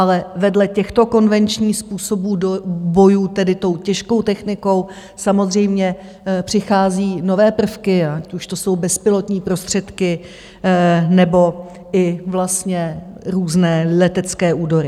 Ale vedle těchto konvenčních způsobů bojů, tedy tou těžkou technikou, samozřejmě přichází nové prvky, ať už to jsou bezpilotní prostředky, nebo i vlastně různé letecké údery.